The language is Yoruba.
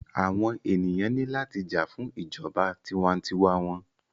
Àwọn ènìyàn ní láti jà fún ìjọba tiwa-n-tiwa wọn.